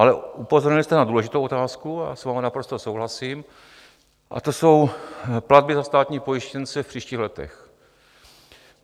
Ale upozornil jste na důležitou otázku, já s vámi naprosto souhlasím, a to jsou platby za státní pojištěnce v příštích letech.